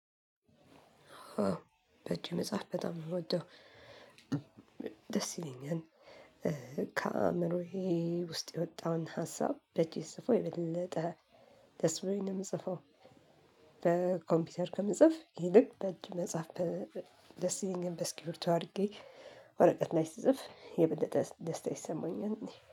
በእጅ መጻፍ በጣም ነው የምወደው ደስ ይለኛል ከአእምሮዬ ውስጥ የወጣውን ሀሳብ በእጄ ስጽፈው የበለጠ ደስ ብሎኝ ነው የምጽፈው በኮምፒውተር ከምጽፍ ይልቅ በእጅ መጻፍ ደስ ይለኛል በእስኪብርቶ አድርጌ ወረቀት ላይ ስጽፍ የበለጠ ደስታ ይሰማኛል።